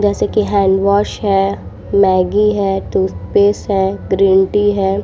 जैसे की हेंडवॉश है। मेगी है। टूथपेस्ट है। ग्रीन टी है।